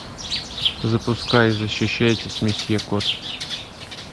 запускай защищайтесь месье кот